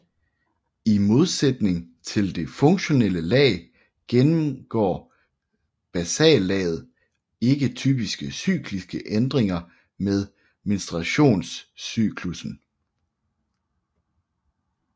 I modsætning til det funktionelle lag gennemgår basallaget ikke typiske cykliske ændringer med menstruationscyklussen